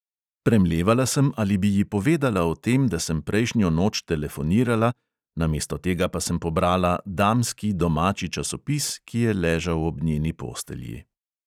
Premlevala sem, ali bi ji povedala o tem, da sem prejšnjo noč telefonirala, namesto tega pa sem pobrala damski domači časopis, ki je ležal ob njeni postelji.